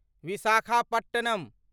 Visakhapatnam